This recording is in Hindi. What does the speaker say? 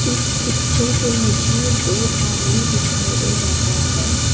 इस पिक्चर पर मुझे दो आदमी दिखाई दे रहा है।